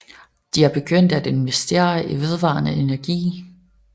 De er begyndt at investere i vedvarende energi